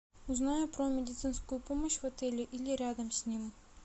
узнай про медицинскую помощь в отеле или рядом с ним